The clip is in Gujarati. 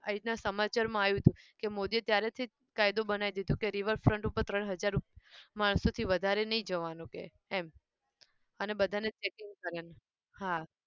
આવી રીતે સમાચારમાં આવ્યું હતું કે મોદીએ ત્યારેથી કાયદો બનાવી દીધો કે river front ઉપર ત્રણ હજાર માણસથી વધારે નહિ જવાનું કે એમ અને બધાને checking કરેને હા